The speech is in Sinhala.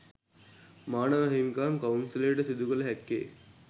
මානව හිමිකම් කවුන්සලයට සිදු කළ හැක්කේ